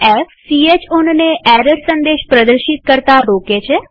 f160 chownને error સંદેશ પ્રદર્શિત કરતા રોકે છે